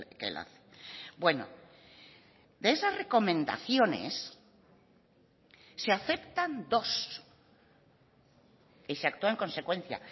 que él hace bueno de esas recomendaciones se aceptan dos y se actúa en consecuencia